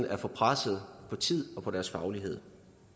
er for presset på tid og på deres faglighed